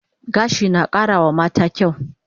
Gashi na kara wa mata kyaw